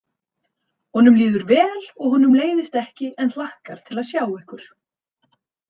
Honum líður vel og honum leiðist ekki en hlakkar til að sjá ykkur.